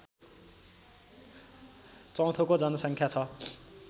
चौथौको जनसङ्ख्या छ